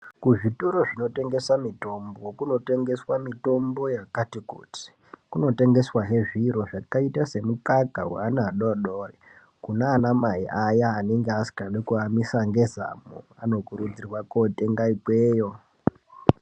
Kuzvitoro zvinotengesa mitombo kunotengeswa mitombo yakati kuti. Kunotengeswa he zviro zvakaita semukaka weana adodori. Kuna anamai ayaa anenge asingadi kuamwisa ngezamu anokurudzirwa kootenga ikweyo.